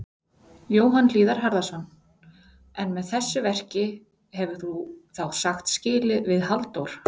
Jóhann Hlíðar Harðarson: En með þessu verki hefur þú þá sagt skilið við Halldór?